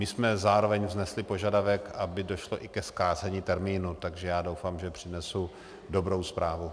My jsme zároveň vznesli požadavek, aby došlo i ke zkrácení termínu, takže já doufám, že přinesu dobrou zprávu.